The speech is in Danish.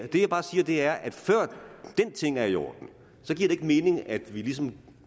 det jeg bare siger er at før den ting er i orden giver det ikke mening at vi ligesom